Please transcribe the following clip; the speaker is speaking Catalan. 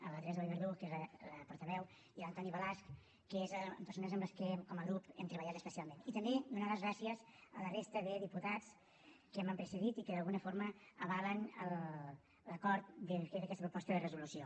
la teresa vallverdú que és la portaveu i l’antoni balasch que són persones amb què com a grup hem treballat especialment i també donar les gràcies a la resta de diputats que m’han precedit i que d’alguna forma avalen l’acord d’aquesta proposta de resolució